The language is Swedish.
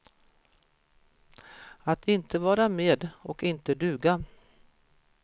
Att inte vara med och inte duga.